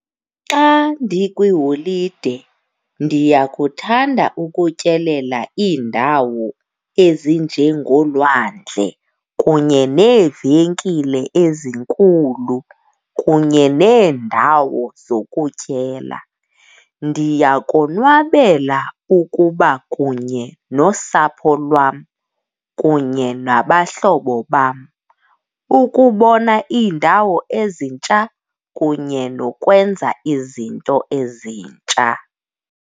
Xa ndikwiholide ndiyakuthanda ukutyelela iindawo ezinjengolwandle kunye neevenkile ezinkulu kunye neendawo zokutyela. Ndiyakonwabela ukuba kunye nosapho lwam kunye nabahlobo bam, ukubona iindawo ezintsha kunye nokwenza izinto ezintsha.